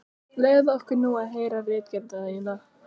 Leyfðu okkur nú að heyra ritgerðina þína!